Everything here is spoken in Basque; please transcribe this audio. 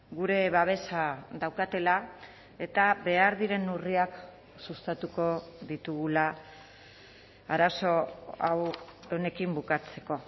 gure babesa daukatela eta behar diren neurriak sustatuko ditugula arazo honekin bukatzeko